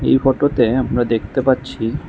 এই ফটোতে আমরা দেখতে পাচ্ছি--